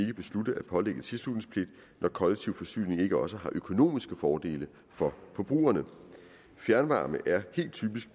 beslutte at pålægge tilslutningspligt når kollektiv forsyning ikke også har økonomiske fordele for forbrugerne fjernvarme er helt typisk